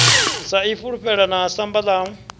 sa ifulufhela na samba ḽa